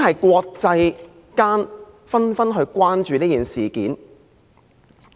國際間已紛紛關注事件。